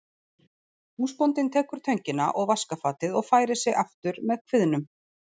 Húsbóndinn tekur töngina og vaskafatið og færir sig aftur með kviðnum.